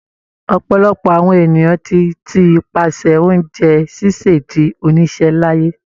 Ọ̀pọ̀lọpọ̀ àwọn ènìyàn tí ti pasẹ̀ oúnjẹ ṣíṣè di oníṣẹ́ láyé.